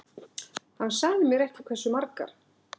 Hann sagði mér ekki hversu margar.